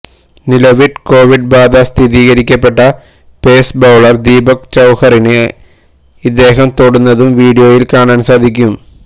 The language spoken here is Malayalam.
നിലവില് കോവിഡ് ബാധ സ്ഥിരീകരിക്കപ്പെട്ട പേസ് ബൌളര് ദീപക് ചാഹറിന് ഇദ്ദേഹം തൊടുന്നതും വീഡിയോയില് കാണാന് സാധിക്കും